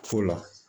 Fo la